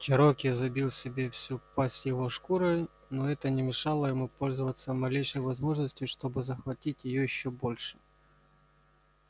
чероки забил себе всю пасть его шкурой но это не мешало ему пользоваться малейшей возможностью чтобы захватить её ещё больше